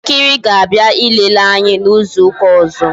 Ndị nkiri ga abịa ilele anyị n'izu ụka ọzọ